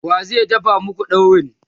wa zai dafa maku daurin?